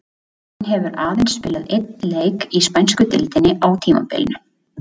Hann hefur aðeins spilað einn leik í spænsku deildinni á tímabilinu.